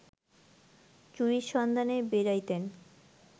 চুরির সন্ধানে বেড়াইতেন